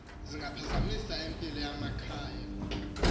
zingaphazamisa impilo yamakhaya